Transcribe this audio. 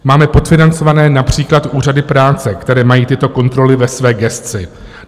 Máme podfinancované například úřady práce, které mají tyto kontroly ve své gesci.